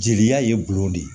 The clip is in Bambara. Jeliya ye gulɔ de